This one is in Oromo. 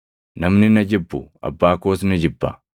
Namni na jibbu Abbaa koos ni jibba.